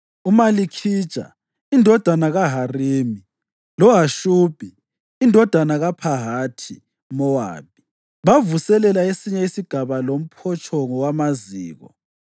UMalikhija indodana kaHarimi loHashubhi indodana kaPhahathi-Mowabi bavuselela esinye isigaba loMphotshongo Wamaziko.